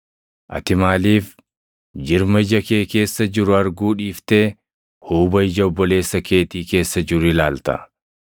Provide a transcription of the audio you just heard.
“Ati maaliif jirma ija kee keessa jiru arguu dhiiftee huuba ija obboleessa keetii keessa jiru ilaalta?